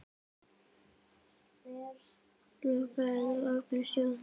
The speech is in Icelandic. Lokaðir eða opnir sjóðir?